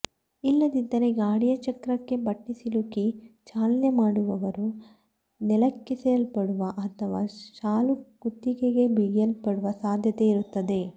ಇಲ್ಲದಿದ್ದರೆ ಗಾಡಿಯ ಚಕ್ರಕ್ಕೆ ಬಟ್ಟೆ ಸಿಲುಕಿ ಚಾಲನೆ ಮಾಡುವವರು ನೆಲಕ್ಕೆಸೆಯಲ್ಪಡುವ ಅಥವಾ ಶಾಲು ಕುತ್ತಿಗೆಗೆ ಬಿಗಿಯಲ್ಪಡುವ ಸಾಧ್ಯತೆ ಇರುತ್ತದೆ